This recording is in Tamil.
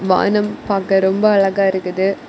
வானம் பாக்க ரொம்ப அழகா இருக்குது.